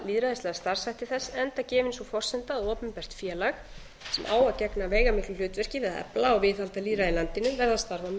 efla lýðræðislega starfshætti þess enda gefin sú forsenda að opinbert félag sem á að gegna veigamiklu hlutverki við að efla og viðhalda lýðræði í landinu verði að starfa með